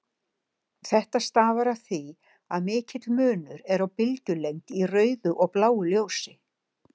Þetta stafar af því að mikill munur er á bylgjulengd í rauðu og bláu ljósi.